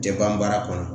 Tɛ ban baara kɔnɔ